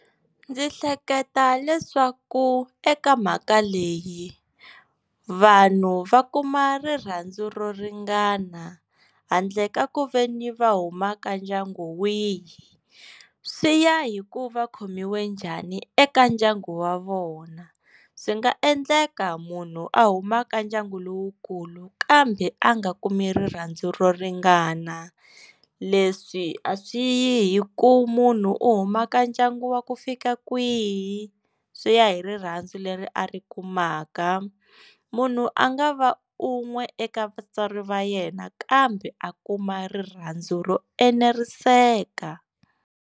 Ndzi hleketa leswaku eka mhaka leyi vanhu va kuma rirhandzu ro ringana handle ka ku ve ni va huma ka ndyangu wihi swi ya hi ku va khomiwe njhani eka ndyangu wa vona swi nga endleka munhu a huma ka ndyangu lowukulu kambe a nga kumi rirhandzu ro ringana leswi a swi yi hi ku munhu u huma ka ndyangu wa ku fika kwihi swi ya hi rirhandzu leri a ri kumaka munhu a nga va un'we eka vatswari va yena kambe a kuma rirhandzu ro eneriseka.